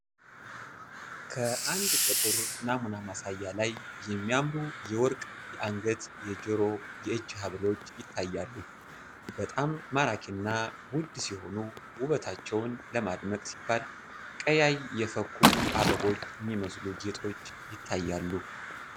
ከአንድ ጥቁር ናሙና ማሳያ ላይ የሚያምሩ የመርቅ የእንገት ፥የጆሮና የእጅ ሃብሎች ይታያሉ በጣም ማራኪና ውድ ሲሆኑ ውበታቸውን ለማድመቅ ሲባል ቀያይ የፈኩ አበቦች እሚመስሉ ጌጦች ይታያሉ።